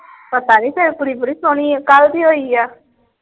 ਪਤਾ ਨਹੀਂ ਫੇਰ ਕੁੜੀ ਬੜੀ ਸੋਹਣੀ ਆ। ਕੱਲ ਦੀ ਹੋਈ ਆ।